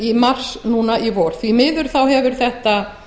í mars núna í vor því miður hefur þetta